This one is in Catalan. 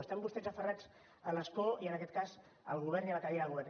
estan vostès aferrats a l’escó i en aquest cas al govern i a la cadira del govern